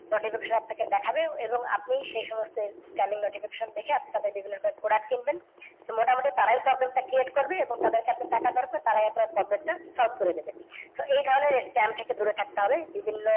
notification আপনাকে দেখাবে এবং আপনি সে সমস্ত spamming notification দেখে আপনি তাদের বিভিন্ন রকমের product কিনবেন। তো মোটামুটি তারাই problem টা create করবে এবং তাদের কাছে টাকা দেওয়ার পর তারাই আপনার problem টা solve করে দেব। So এই ধরণের scam থেকে দূরে থাকতে হবে।